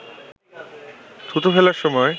থুতু ফেলার সময়